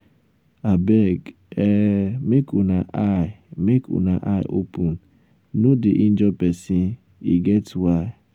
um abeg um make una eye make una eye open um no dey injure person. e get why.